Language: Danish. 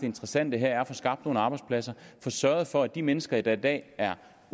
interessante her er at få skabt nogle arbejdspladser få sørget for at de mennesker der i dag er